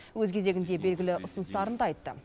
өз кезегінде белгілі ұсыныстарын да айтты